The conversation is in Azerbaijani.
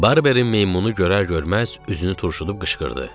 Barberin meymunu görər-görməz üzünü turşudub qışqırdı.